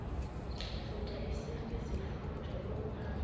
futha izifutho ukuhambela